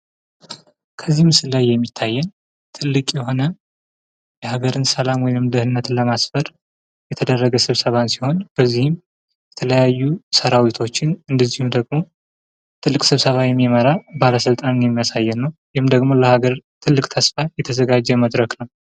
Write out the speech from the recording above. ከዚህ ምስል ላይ የሚያየን ትልቅ የሆነ የሀገርን ሰላማዊ ወይም ድህነንት ለማስፈር የተደረገን ስብሰባን ሲሆን በዚህ የተለያዩ ሰራዊቶችን እንደዚሁም ደግሞ ትልቅ ስብሰባን የሚመራ ባለስልጣንን የሚያሳይ ነው። ወይም ደግሞ ለሃገርዊ ትልቅ ተስፋ የተዘጋጀ መድረክ ነው።